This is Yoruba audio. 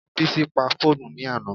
Bísí pa fóònù ní àná